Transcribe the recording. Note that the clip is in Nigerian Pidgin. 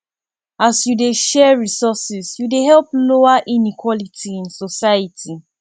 as yu dey share resources yu dey help lower inequality in society